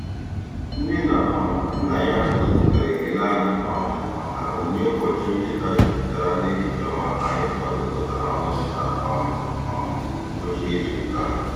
Nne na um nna ya gosipụtara ekele anyị um maka onyinye ụbọchị ncheta jupụtara n'echiche ọma anyị kwadokọtara ọnụ na um um ngwụcha izuụka a.